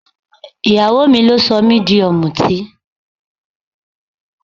Ìyàwó mi ló sọ mí di ọmútí.